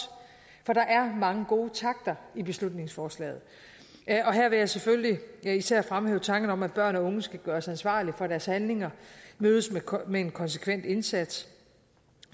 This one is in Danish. for der er mange gode takter i beslutningsforslaget og her vil jeg selvfølgelig især fremhæve tankerne om at børn og unge skal gøres ansvarlige for deres handlinger og mødes med en konsekvent indsats